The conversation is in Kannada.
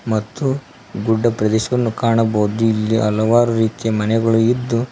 ಮತ್ತು ಗುಡ್ಡ ಪ್ರದೇಶವನ್ನು ಕಾಣಬೋದು ಇಲ್ಲಿ ಹಲವಾರು ರೀತಿ ಮನೆಗಳು ಇದ್ದು--